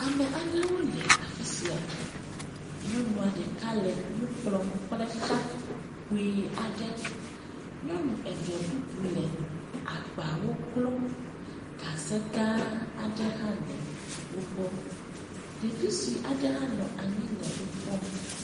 Ame aɖewo le afi sia. Nyɔnu aɖe le nu kplɔm kple xa kpuii aɖe. Nyɔnu eve bubu le agbawo klɔm. Gaze gããaa aɖe hã le wogbɔ. Ɖevi sue aɖe hã nɔ anyi le wokpɔm.